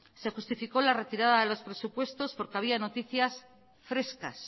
se justificó la retirada de los presupuestos porque había noticias frescas